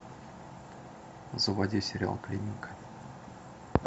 заводи сериал клиника